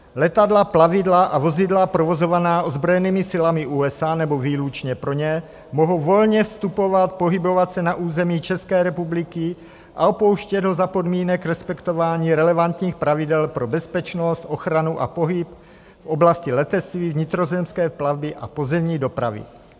Letadla, plavidla a vozidla provozovaná ozbrojenými silami USA nebo výlučně pro ně mohou volně vstupovat, pohybovat se na území České republiky a opouštět ho za podmínek respektování relevantních pravidel pro bezpečnost, ochranu a pohyb v oblasti letectví, vnitrozemské plavby a pozemní dopravy.